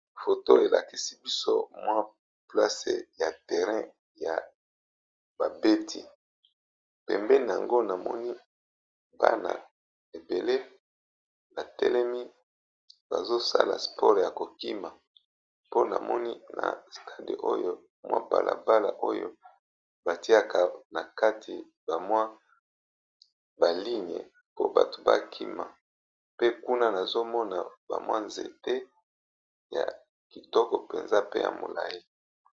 Foto elakisi biso mwa place ya terrain ya babeti pembeni na yango namoni bana ebele batelemi bazosala sport ya kokima mpo namoni na stade oyo mwa balabala oyo batiaka na kati ba mwa ba ligne po bato bakima pe kuna nazomona ba mwa nzete ya kitoko mpenza pe ya molayi.